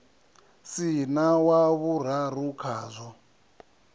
si na wa vhuraru khazwo